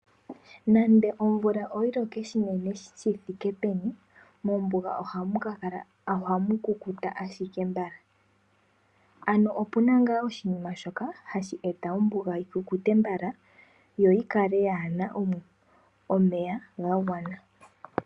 Nande omvula oyiloke onene shi thike peni mombuga ohamu kukuta ashike mbala. Ano opuna ngaa oshinima shoka hashi eta ombuga yi kukute mbala yo yi kale yaana omeya ga gwana.